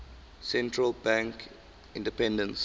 central bank independence